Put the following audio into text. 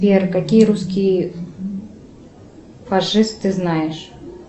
сбер какие русские фашисты знаешь